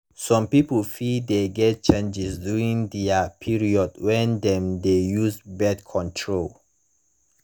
some people fit de get changes during their period when dem de use birth control